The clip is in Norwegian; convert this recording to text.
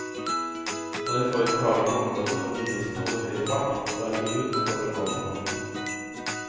Når vi får inn klager på områder hvor bilistene holder høy fart, drar vi ut og foretar lasermålinger.